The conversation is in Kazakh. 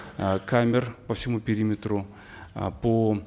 э камер по всему периметру э по